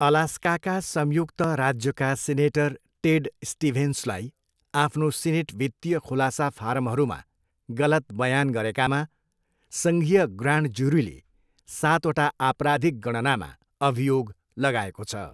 अलास्काका संयुक्त राज्यका senator Ted स्टिभेन्सलाई आफ्नो सिनेट वित्तीय खुलासा फारमहरूमा गलत बयान गरेकामा सङ्घीय ग्रान्ड ज्युरीले सातवटा आपराधिक गणनामा अभियोग लगाएको छ।